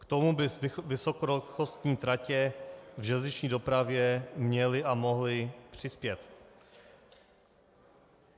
K tomu by vysokorychlostní tratě v železniční dopravě měly a mohly přispět.